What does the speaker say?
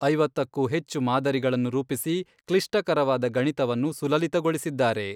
ಐವತ್ತಕ್ಕೂ ಹೆಚ್ಚು ಮಾದರಿಗಳನ್ನು ರೂಪಿಸಿ, ಕ್ಲಿಷ್ಟಕರವಾದ ಗಣಿತವನ್ನು ಸುಲಲಿತಗೊಳಿಸಿದ್ದಾರೆ.